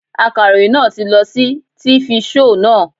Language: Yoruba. Akaròyìn náà ti lọ sí tifi shoò naa